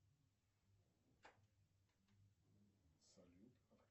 салют